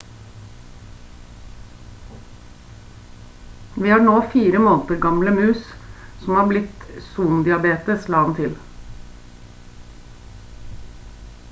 «vi har nå 4 måneder gamle mus som har blitt kvitt son diabetes» la han til